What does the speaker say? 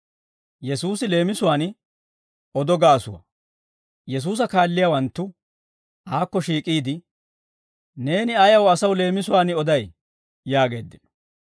Yesuusa kaalliyaawanttu aakko shiik'iide, «Neeni ayaw asaw leemisuwaan oday?» yaageeddino.